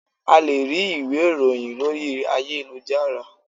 A lè rí ìwé ìròhìn lórí ayélujára.